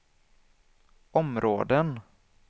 områden